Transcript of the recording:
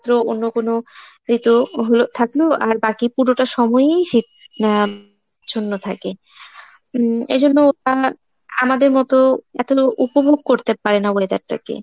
অন্য কনো ঋতু হলো থাকলো আর বাকি পুরোটা সময়ই শীত উম আচ্ছন্ন থাকে। উম এজন্য আহ আমাদের মতো এতো উপভোগ করতে পারে না weather টা কে।